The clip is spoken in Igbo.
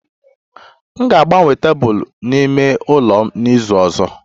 M ga-agbanwe tebụl n'ime ụlọ m n'izu ọzọ